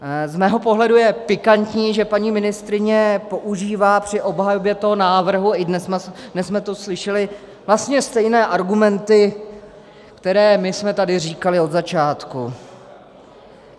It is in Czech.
Z mého pohledu je pikantní, že paní ministryně používá při obhajobě toho návrhu - i dnes jsme to slyšeli - vlastně stejné argumenty, které my jsme tady říkali od začátku.